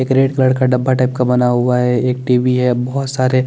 एक red colour का डब्बा टाइप का बना हुआ है एक टीवी है बोहोत सारे --